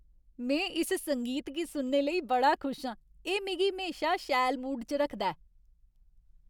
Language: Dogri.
में इस संगीत गी सुनने लेई बड़ा खुश आं। एह् मिगी म्हेशा सैल मूड च रखदा ऐ।